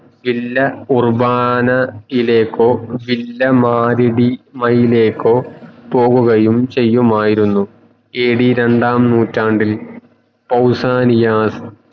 villa കുർബാനത്തിലെക്കോ വില്ല മാരീതി മയിലേക്കോ പോവുകയും ചെയ്യുമായിരുന്നു എഡി രണ്ടാം നൂറ്റാണ്ടിൽ